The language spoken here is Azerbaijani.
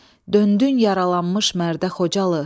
Döndün yaralanmış mərdə Xocalı.